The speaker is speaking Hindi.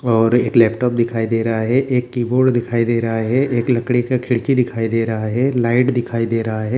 और एक लैपटॉप फिर दिखा दे रहा है एक कीबोर्ड दिखाई दे रहा है एक लकड़ी का खिड़की दिखाई दे रहा हे लाइट दिखाई दे रहा हे।